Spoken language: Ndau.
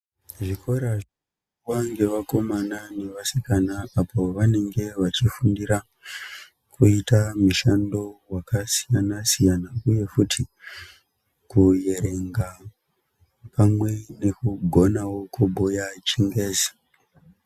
Zvikora zvinoendwa nevakomana nevasikana apo pavanenge veifundira kuita mishando yakasiyana-siyana uye futi kuerenga pamwe nekugona kubhuya chingezi.